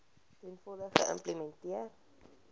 ten volle geïmplementeer